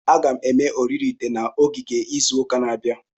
Aga m eme oriri ite na ogige izu ụka na-abịa.